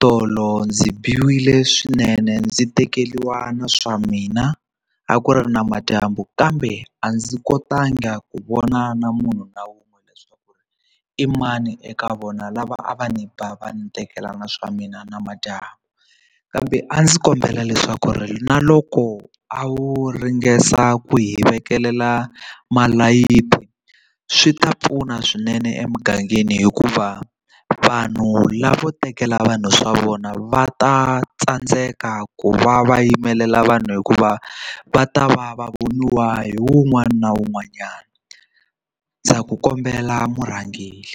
tolo ndzi biwile swinene ndzi tekeriwa na swa mina a ku ri namadyambu kambe a ndzi kotanga ku vona na munhu na wun'we leswaku i mani eka vona lava a va ni ba va ni tekelani swa mina namadyambu kambe a ndzi kombela leswaku ri na loko a wu ringesa ku hi vekelela malayithi swi ta pfuna swinene emugangeni hikuva vanhu lava vo tekela vanhu swa vona va ta tsandzeka ku va va yimelela vanhu hikuva va ta va va voniwa hi wun'wana na wun'wanyana ndza ku kombela murhangeri.